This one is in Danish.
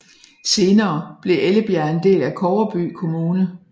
Senere blev Ellebjerg en del af Kobberby Kommune